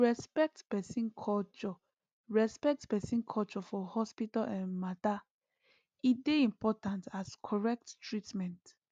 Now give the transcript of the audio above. to respect person culture respect person culture for hospital um matter e dey important as correct treatment